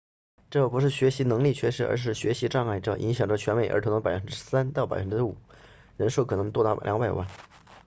这不是学习能力缺失而是学习障碍这影响着全美儿童的 3% 到 5% 人数可能多达200万